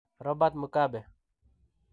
Robert Mugabe.